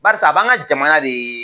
Baris'a b'an ka jamana de